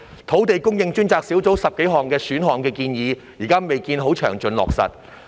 土地供應專責小組提出的10多項選項建議，至今未見詳盡落實。